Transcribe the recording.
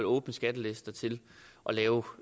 åbne skattelister til at lave